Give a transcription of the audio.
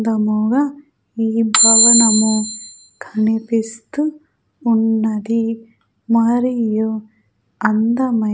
దముగా ఈ భవనము కనిపిస్తూ ఉన్నది మరియు అందమై--